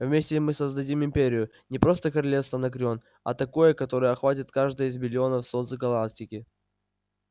вместе мы создадим империю не просто королевство анакреон а такое которое охватит каждое из биллионов солнц галактики